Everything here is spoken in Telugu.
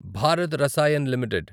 భారత్ రసాయన్ లిమిటెడ్